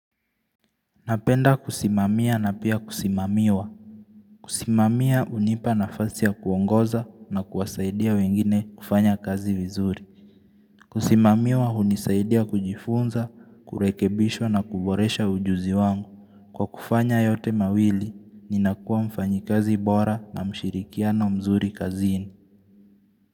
Napenda kusimamia na pia kusimamiwa Kusimamiwa hunipa nafasi ya kuongoza na kuwasaidia wengine kufanya kazi vizuri Kusimamiwa hunisaidia kujifunza, kurekebishwa na kuboresha ujuzi wangu Kwa kufanya yote mawili, ninakuwa mfanyikazi bora na mshirikiano mzuri kazini.